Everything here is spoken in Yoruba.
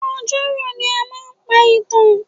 Ọjọ́ rọ̀ ni a máa ń pa ìtàn.